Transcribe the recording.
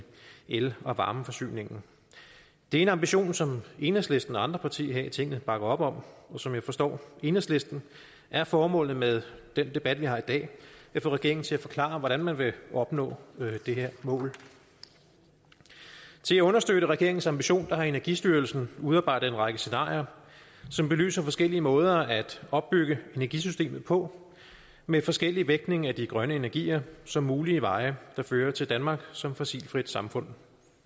el og varmeforsyningen det er en ambition som enhedslisten og andre partier her i tinget bakker op om og som jeg forstår enhedslisten er formålet med den debat vi har i dag at få regeringen til at forklare hvordan man vil opnå det her mål til at understøtte regeringens ambition har energistyrelsen udarbejdet en række scenarier som belyser forskellige måder at opbygge energisystemet på med forskellig vægtning af de grønne energier som mulige veje der fører til danmark som fossilfrit samfund